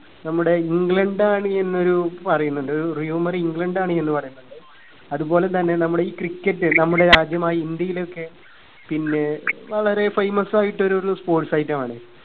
നമ്മുടെ ഇംഗ്ലണ്ട് ആണ് എന്നൊരു പറയുന്നുണ്ട് ഒരു rumour ഇംഗ്ലണ്ട് ആണ് എന്ന് പറയുന്നുണ്ട് അതുപോലെ തന്നെ നമ്മുടെ ഇ cricket നമ്മുടെ ആദ്യമായി ഈ ഇന്ത്യയിലൊക്കെ പിന്നെ വളരെ famous ആയിട്ടൊരു ഒരു sportsitem ആണ്